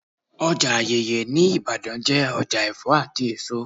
Ọjà Ayeye ní Ibadan jẹ́ ọjà Ẹ̀fọ́ àti èso.